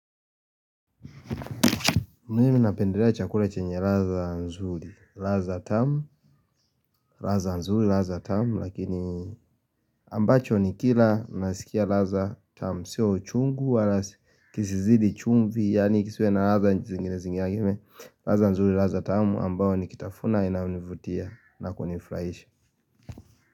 Mimi napendelea chakula chenye ladha nzuri, ladha tamu ladha nzuri, ladha tamu, lakini ambacho ni kila nasikia ladha tamu Sio uchungu wala kisizidi chumvi, yani kisiwe na ladha zingine zingine ladha nzuri, ladha tamu, ambao nikitafuna inanivutia na kunifuraishi.